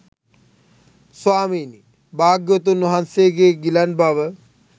ස්වාමීනී භාග්‍යවතුන් වහන්සේගේ ගිලන් බව